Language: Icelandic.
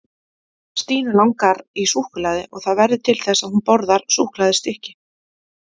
Stínu langar í súkkulaði og það verður til þess að hún borðar súkkulaðistykki.